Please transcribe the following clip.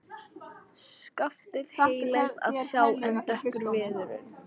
Skaftið heillegt að sjá en dökkur viðurinn.